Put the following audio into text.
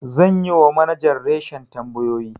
Zan yi wa manajan reshin tambayoyi.